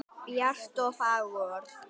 Bjart og fagurt.